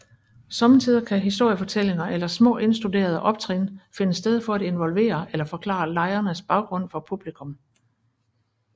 Somme tider kan historiefortællinger eller små indstuderede optrin finde sted for at involvere eller forklare lejrenes baggrund for publikum